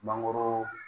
Mangoro